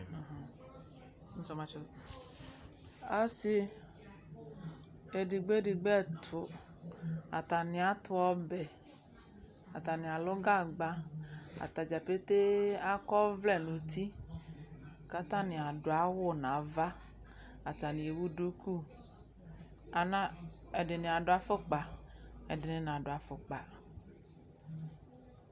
Ɔsɩ edigbi edigbo ɛtʊ atnɩ atʊ ɔbɛ atanɩlʊ gagba atadza petee akɔ ɔwlɛ nʊ ʊtɩ kʊ atanɩ adʊ awʊ nʊ ava atanɩwʊ dʊkʊ ɛdɩnɩ adʊ afʊkpa ɛdɩnɩ nadʊ afʊkpa